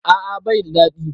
A'a bai da daɗi